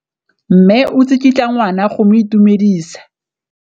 Mme o tsikitla ngwana go mo itumedisa.